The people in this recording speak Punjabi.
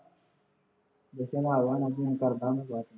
ਜਸ਼ਨ ਆ ਗਿਆ ਹੋਣਾ, ਫੋਨ ਕਰਦਾ ਮੈਂ ਬਾਅਦ ਚ